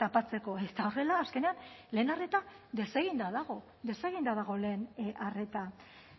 tapatzeko eta horrela azkenean lehen arreta deseginda dago deseginda dago lehen arreta